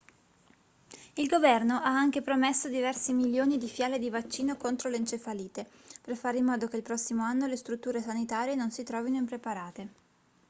il governo ha anche promesso diversi milioni di fiale di vaccino contro l'encefalite per fare in modo che il prossimo anno le strutture sanitarie non si trovino impreparate